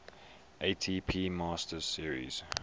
atp masters series